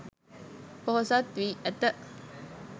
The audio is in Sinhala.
පොහොසත් වී ඇත